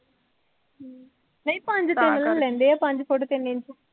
ਨਹੀਂ ਪੰਂਜ ਤਿੰਨ ਨੂੰ ਲੈਂਦੇ ਹੈ, ਪੰਜ ਫੁੱਟ ਤਿੰਨ ਇੰਚ